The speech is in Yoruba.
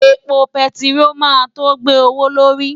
Epo bẹntiró máa tó gbé owó lórí.